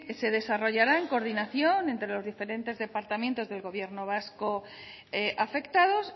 se desarrollará en coordinación entre los diferentes departamentos del gobierno vasco afectados